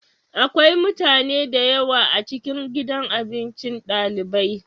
Akwai mutane da yawa a cikin gidan abinci dalibai.